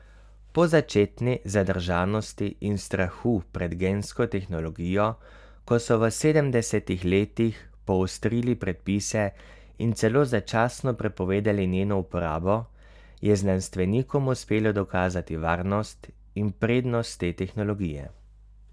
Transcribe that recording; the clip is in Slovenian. Po začetni zadržanosti in strahu pred gensko tehnologijo, ko so v sedemdesetih letih poostrili predpise in celo začasno prepovedali njeno uporabo, je znanstvenikom uspelo dokazati varnost in prednost te tehnologije.